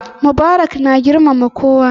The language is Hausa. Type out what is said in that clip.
Mubarak na girmama kowa.